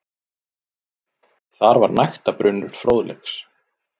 Þar var nægtabrunnur fróðleiks.